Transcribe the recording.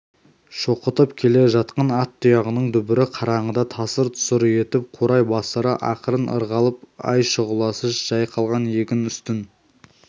шоқытып келе жатқан ат тұяғының дүбірі қараңғыда тасыр-тұсыр етіп қурай бастары ақырын ырғалып ай шұғыласы жайқалған егін үстін